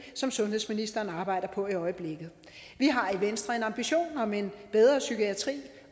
som sundhedsministeren arbejder på i øjeblikket vi har i venstre ambition om en bedre psykiatri